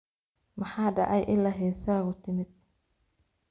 Maxa dhacey ila hesagu timid.